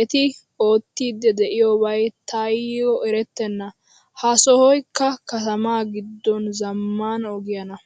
Eti ootidi deiyobay tay eretena. Ha sohoykka katama giddon zamaana ogiyaana.